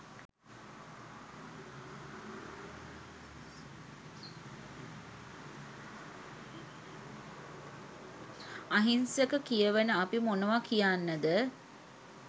අහිංසක කියවන අපි මොනව කියන්නද